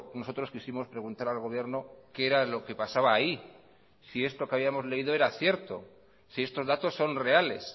nosotros quisimos preguntar al gobierno qué era lo que pasaba ahí si esto que habíamos leído era cierto si estos datos son reales